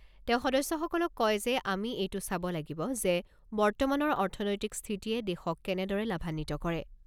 তেওঁ সদস্যসকলক কয় যে, আমি এইটো চাব লাগিব যে, বৰ্তমানৰ অৰ্থনৈতিক স্থিতিয়ে দেশক কেনেদৰে লাভান্বিত কৰে।